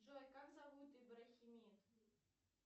джой как зовут ибрахимит